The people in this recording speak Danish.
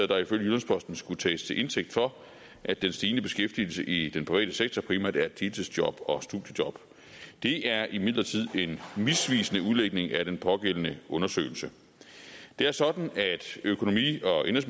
der ifølge jyllands posten skulle tages til indtægt for at den stigende beskæftigelse i den private sektor primært er deltidsjob og studiejob det er imidlertid en misvisende udlægning af den pågældende undersøgelse det er sådan at økonomi og